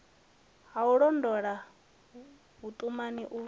ha u londota vhuṱumani u